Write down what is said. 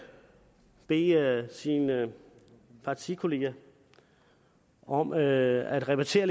bede sine partikolleger om at repetere